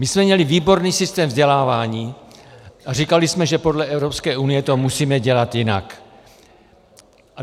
My jsme měli výborný systém vzdělávání a říkali jsme, že podle Evropské unie to musíme dělat jinak.